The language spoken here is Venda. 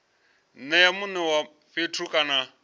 nea mune wa fhethu kana